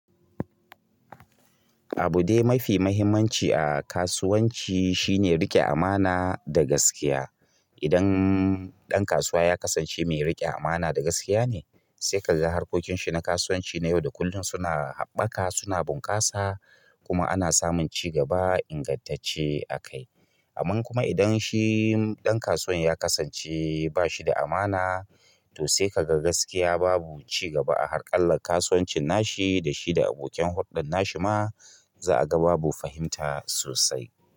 Abu dai mafi muhimmanci a kasuwanci shine riƙe amana da gaskiya. Idan ɗan kasuwa ya kasance mai riƙe amana da gaskiya ne, sai ka ga harkokin shi na kasuwanci na yau da kullum suna haɓaka, suna bunƙasa kuma ana samun cigaba ingantacce a kai. Amman kuma idan shi ɗan kasuwan ya kasance bashi da amana to sai ka ga gaskiya babu ci gaba a harkallan kasuwanci nashi da shi da abokin huldan nashi ma za a ga babu fahimta sosai.